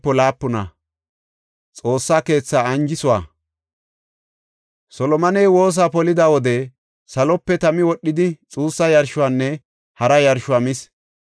Solomoney woosa polida wode salope tami wodhidi xuussa yarshuwanne hara yarshuwa mis. Godaa bonchoy Xoossa keethaa kumis.